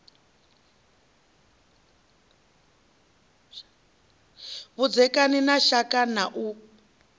vhudzekani na shaka na u